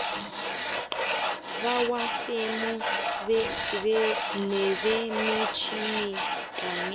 bamafemu nebemitjhini kanye